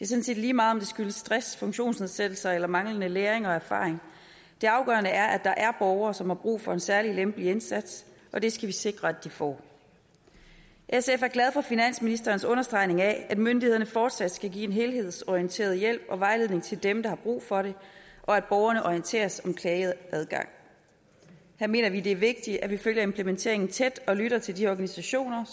set lige meget om det skyldes stress funktionsnedsættelser eller manglende læring og erfaring det afgørende er at der er borgere som har brug for en særlig lempelig indsats og det skal vi sikre de får sf er glad for finansministerens understregning af at myndighederne fortsat skal give en helhedsorienteret hjælp og vejledning til dem der har brug for det og at borgerne orienteres om klageadgang her mener vi det er vigtigt at vi følger implementeringen tæt og lytter til de organisationer